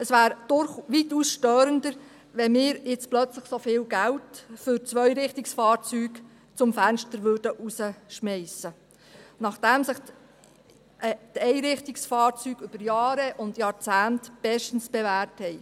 Es wäre weitaus störender, wenn wir jetzt plötzlich so viel Geld für Zweirichtungsfahrzeuge zum Fenster hinausschmeissen würden, nachdem sich die Einrichtungsfahrzeuge über Jahre und Jahrzehnte bestens bewährt haben.